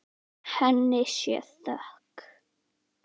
Henni sé þökk.